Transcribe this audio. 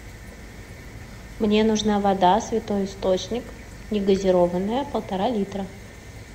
мне нужна вода святой источник негазированная полтора литра